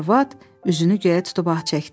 Arvad üzünü göyə tutub ah çəkdi.